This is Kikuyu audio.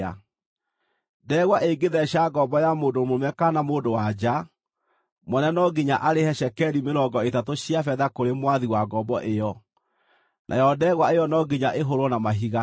Ndegwa ĩngĩtheeca ngombo ya mũndũ mũrũme kana mũndũ-wa-nja, mwene no nginya arĩhe cekeri mĩrongo ĩtatũ cia betha kũrĩ mwathi wa ngombo ĩyo, nayo ndegwa ĩyo no nginya ĩhũũrwo na mahiga.